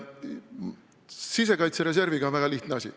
Sisekaitsereserviga on väga lihtne asi.